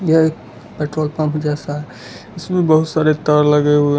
यह एक petrol pump जैसा है इसमें बहुत सारे तार लगे हुए --